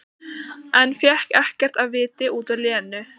En fékk ekkert af viti út úr Lenu.